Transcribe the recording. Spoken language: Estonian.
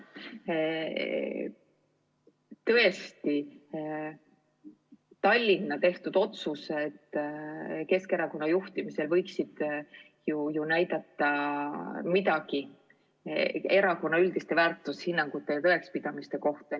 Tõesti, Tallinna tehtud otsused võiksid ju midagi öelda Keskerakonna juhtimisel kehtivate üldiste väärtushinnangute ja tõekspidamiste kohta.